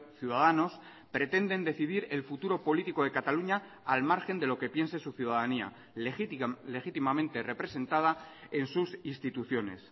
ciudadanos pretenden decidir el futuro político de cataluña al margen de lo que piense su ciudadanía legítimamente representada en sus instituciones